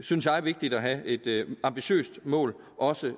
synes jeg vigtigt at have et ambitiøst mål også